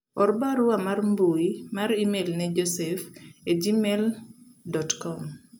or barua mar mbui mar email ne Josef a gmail dot kom